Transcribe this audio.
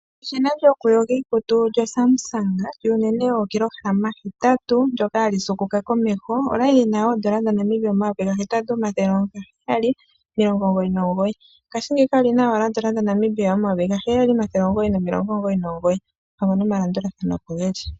Eshina lyokuyoga iikutu lyoSamsung lyuunene wookilohalama hetatu ndyoka hali siikuluka komeho, olya li lyina oodollar dhaNamibia omayovi gahetatu, omathele gaheyali, omilongo omugoyi nomugoyi. Ngashingeyika oli na owala oondola dhaNamibia omayovi gaheyali, omathele omugoyi nomilongo omugoyi nomugoyi. Oompango nomalandulathano opo ge li.